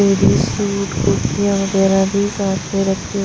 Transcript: ladies suit कुर्तीया वगैराह भी साथ में रखी हुई--